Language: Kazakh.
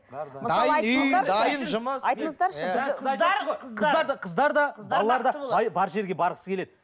дайын үй дайын жұмыс айтыңыздаршы қыздар да балалар да бай бар жерге барғысы келеді